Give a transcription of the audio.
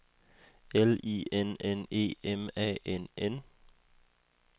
L I N N E M A N N